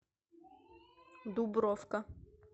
дубровка